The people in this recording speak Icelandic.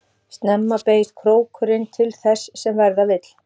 Snemma beygist krókurinn til þess sem verða vill.